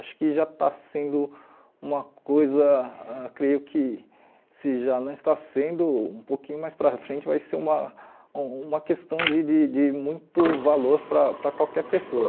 Acho que já está sendo uma coisa, creio que se já não está sendo, um pouquinho mais para frente vai ser uma uma questão de de de muito valor para para qualquer pessoa.